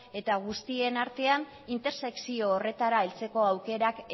eta guztien artean intersekzio horretara heltzeko aukerak